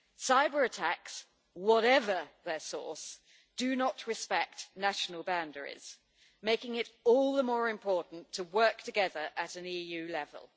Cyber-attacks, whatever their source, do not respect national boundaries, making it all the more important to work together at an EU level.